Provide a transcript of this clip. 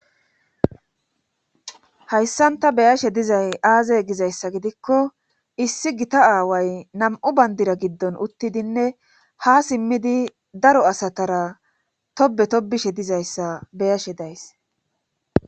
Hayssan ta beyashe dizay aazey gizayssa gidikko issi gita aaway nam7u bandira giddon uttidinne ha simmidi daro asatara tobe tobishe dizayssa beyashe days.